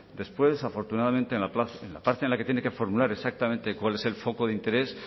después afortunadamente en la parte en la que tiene que formular exactamente cuál es el foco de interés